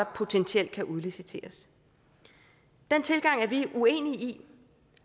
potentielt kan udliciteres den tilgang er vi uenige i